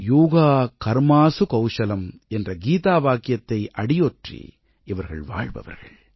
யோக கர்மாஸு கௌஷலம் என்ற கீதாவாக்கியத்தை அடியொற்றி இவர்கள் வாழ்பவர்கள்